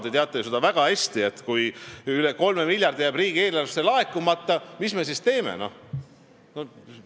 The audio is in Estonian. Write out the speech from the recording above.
Te teate väga hästi, et kui üle 3 miljardi jääb riigieelarvesse laekumata, siis tekib küsimus, mis me siis teeme.